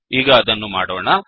ಈಗ ಅದನ್ನು ಮಾಡೋಣ